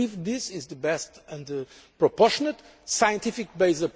I believe this is the best, most proportionate, scientific based approach.